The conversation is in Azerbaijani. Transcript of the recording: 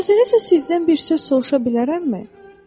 İcazənizlə sizdən bir söz soruşa bilərəmmi?